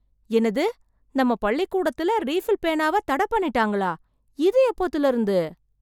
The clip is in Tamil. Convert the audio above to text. என்னது! நம்ம பள்ளிக்கூடத்துல ரீஃபில் பேனாவ தட பண்ணிட்டாங்களா! இது எப்போத்துல இருந்து!